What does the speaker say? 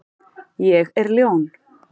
Ég er ljón.